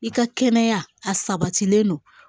I ka kɛnɛya a sabatilen don